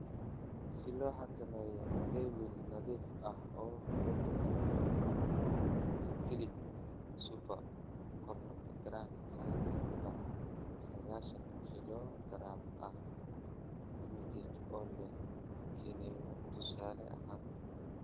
"Si loo xakameeyo weevil, nadiif ah oo boodh leh Actellic super (konton garam halkii bac sagashan kilogaram ah), Fumigate oo leh kiniinno tusaale ahaan.